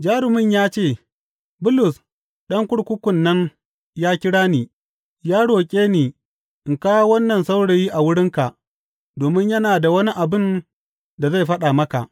Jarumin ya ce, Bulus, ɗan kurkukun nan ya kira ni, ya roƙe ni in kawo wannan saurayi a wurinka domin yana da wani abin da zai faɗa maka.